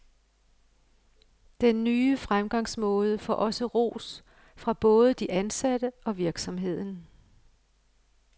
Den nye fremgangsmåde får også ros fra både de ansatte og virksomheden.